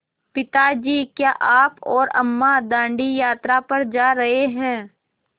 पिता जी क्या आप और अम्मा दाँडी यात्रा पर जा रहे हैं